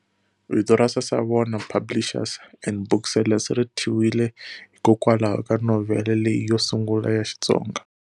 Vito ra Sasavona Publishers and Booksellers ri thyiwile hikokwalaho ka novhele leyi yo sungula ya Xitsonga.